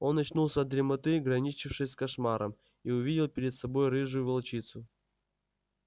он очнулся от дремоты граничившей с кошмаром и увидел перед собой рыжую волчицу